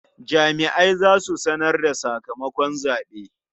Jama'ai za su sanar da sakamakon zaɓe.